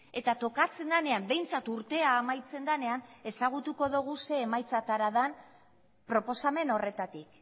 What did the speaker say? eta tokatzen denean behintzat urtea amaitzen denean ezagutuko dugu ze emaitzetara den proposamen horretatik